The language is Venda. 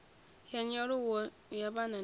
ya nyaluwo ya vhana na